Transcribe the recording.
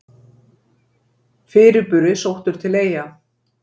Fyrirburi sóttur til Eyja